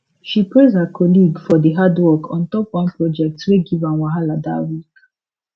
she praise her colleague for di hard work on top one project wey give am wahala that week